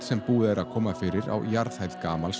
sem búið er að koma fyrir á jarðhæð gamals